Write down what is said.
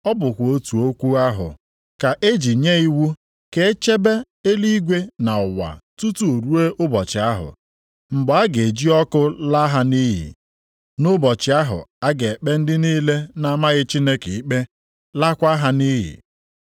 Ọ bụkwa otu okwu ahụ ka e ji nye iwu ka e chebe eluigwe na ụwa tutu ruo ụbọchị ahụ, mgbe a ga-eji ọkụ laa ha nʼiyi nʼụbọchị ahụ a ga-ekpe ndị niile na-amaghị Chineke ikpe, laakwa ha nʼiyi.